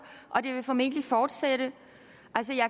og det vil formentlig fortsætte